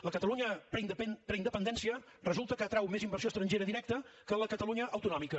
la catalunya preindependència resulta que atrau més inversió estrangera directa que la catalunya autonòmica